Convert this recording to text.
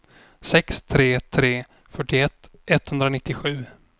sex tre tre tre fyrtioett etthundranittiosju